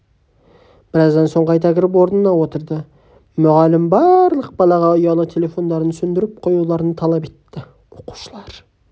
біраздан соң қайта кіріп орнына отырды мұғалім барлық балаға ұялы телефондарын сөндіріп қоюларын талап етті оқушылар